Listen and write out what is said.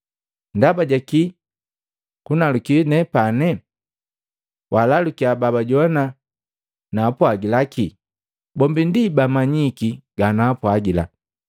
Ndaba jakii kunaluki nepane? Walalukiya babajoannya naapwagila ki. Bombi ndi amanyiki ganaapwagila.”